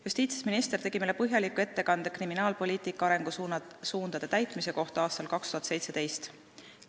Justiitsminister tegi meile põhjaliku ettekande kriminaalpoliitika arengusuundade täitmise kohta aastal 2017.